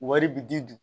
Wari bi di